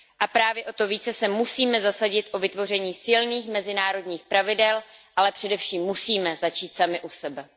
A právě o to více se musíme zasadit o vytvoření silných mezinárodních pravidel, ale především musíme začít sami u sebe.